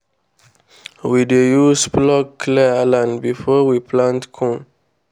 we dey use plough clear land before we plant corn.